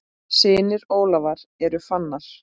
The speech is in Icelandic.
Synir Ólafar eru Fannar.